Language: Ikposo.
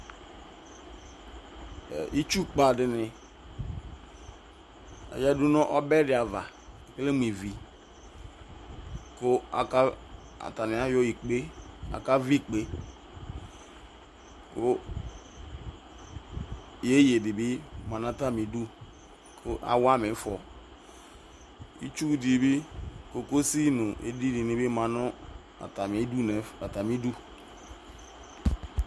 Itsu padini yan ɔbɛ ava aka vi ikpeyeyedi bi fua nu atamidu awama ivɔ itsu di nuyovizi ma nu atamidu